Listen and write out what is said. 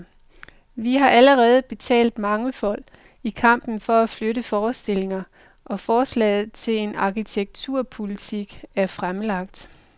Vi har allerede betalt mangefold, i kampen for at flytte forestillinger, og forslaget til en arkitekturpolitik er fremlagt.